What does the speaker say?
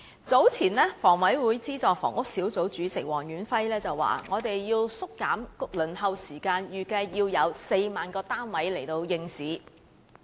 早前房委會資助房屋小組委員會主席黃遠輝表示，要縮減輪候時間，預計需要有4萬個單位應市。